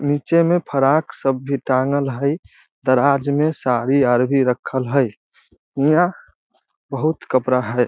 नीचे मे फराक सब भी टांगल हेय दराज में साड़ी आर भी रखल हेय | इहा बहुत कपड़ा हैय ।